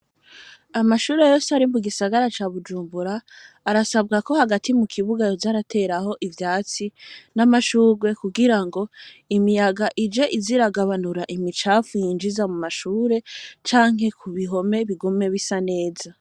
Amashure yose ari mu gisagara ca Bujumbura, arasabwa ko hagati mu kibuga yoza arateraho ivyatsi n'amashurwe kugirango imiyaga ije ize iragabanura imicafu yinjiza mu mashure, canke ku bimpome, bigume bisa neza.